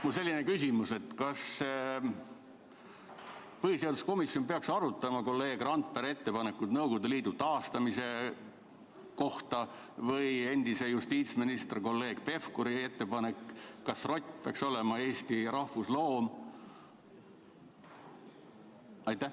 Mul on selline küsimus: kas põhiseaduskomisjon peaks arutama kolleeg Randpere ettepanekut Nõukogude Liidu taastamise kohta või endise justiitsministri kolleeg Pevkuri küsimust, kas rott peaks olema Eesti rahvusloom?